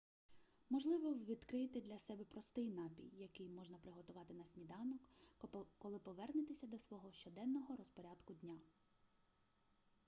можливо ви відкриєте для себе простий напій який можна приготувати на сніданок коли повернетеся до свого щоденного розпорядку дня